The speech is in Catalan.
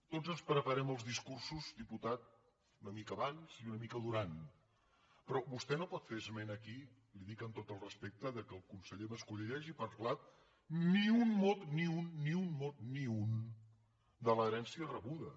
tots ens preparem els discursos diputat una mica abans i una mica durant però vostè no pot fer esment aquí li ho dic amb tot el respecte que el conseller mas colell hagi parlat ni un mot ni un ni un mot ni un de l’herència rebuda